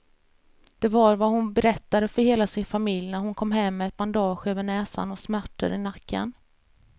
Det var vad hon berättade för hela sin familj när hon kom hem med ett bandage över näsan och smärtor i nacken.